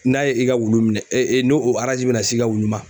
N'a ye i ka wulu minɛ ni n'o bɛ na s'i ka wulu ma.